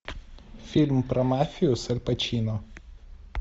фильм про мафию с аль пачино